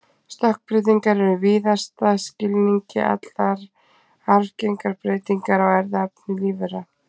Stökkbreytingar eru í víðasta skilningi allar arfgengar breytingar á erfðaefni lífvera.